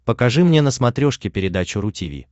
покажи мне на смотрешке передачу ру ти ви